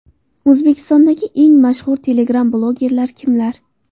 O‘zbekistondagi eng mashhur telegram blogerlar kimlar?